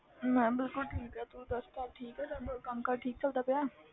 ਮੈਂ ਬਿਲਕੁਲ ਠੀਕ ਹਾਂ ਤੂੰ ਦੱਸ ਘਰ ਠੀਕ ਆ ਸਭ, ਕੰਮ ਕਾਰ ਠੀਕ ਚੱਲਦਾ ਪਿਆ ਹੈ।